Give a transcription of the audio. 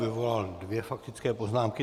Vyvolal dvě faktické poznámky.